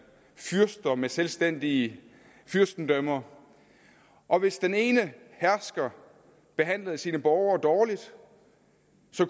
og fyrster med selvstændige fyrstendømmer og hvis den ene hersker behandlede sine borgere dårligt